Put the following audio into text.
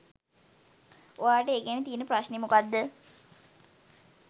ඔයාට ඒ ගැන තියෙන ප්‍රශ්නේ මොකද්ද?